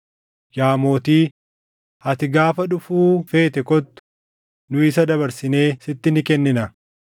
Yaa mootii, ati gaafa dhufuu feete kottu; nu isa dabarsinee sitti ni kennina.”